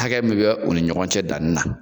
Hakɛ min bɛ u ni ɲɔgɔn cɛ dani na.